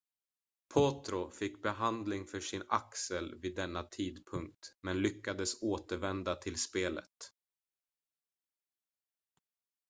potro fick behandling för sin axel vid denna tidpunkt men lyckades återvända till spelet